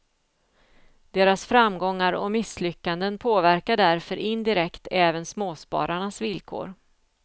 Deras framgångar och misslyckanden påverkar därför indirekt även småspararnas villkor.